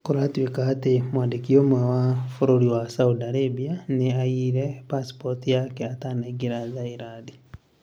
Kũratweka atĩ mwandĩki ũmwe wa bũrũri wa Saudi Arabia nĩ aiyire passport yake atanaĩingĩra Thailand.